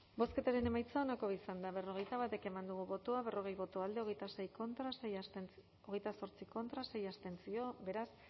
bozketaren emaitza onako izan da hirurogeita hamalau eman dugu bozka berrogei boto alde hogeita zortzi contra sei abstentzio beraz